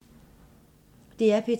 DR P2